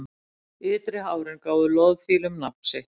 Ytri hárin gáfu loðfílum nafn sitt.